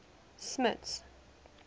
smuts